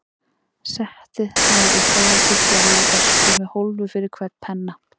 Settið var í þar til gerðri öskju með hólfi fyrir hvern penna.